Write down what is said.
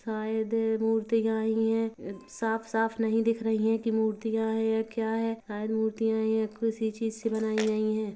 शायद मूर्तियाँ ही है साफ़-साफ़ नहीं दिख रही है की मूर्तियाँ है या क्या है शायद मूर्तियाँ ही है किसी चीज़ से बनायीं गयी है।